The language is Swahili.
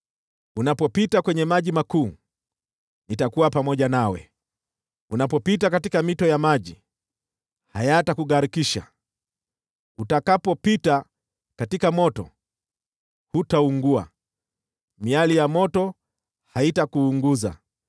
Unapopita kwenye maji makuu, nitakuwa pamoja nawe, unapopita katika mito ya maji, hayatakugharikisha. Utakapopita katika moto, hutaungua, miali ya moto haitakuunguza.